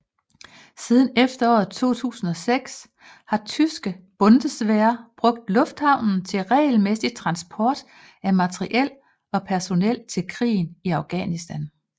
Siden efteråret 2006 har tyske Bundeswehr brugt lufthavnen til regelmæssig transport af materiel og personel til krigen i Afghanistan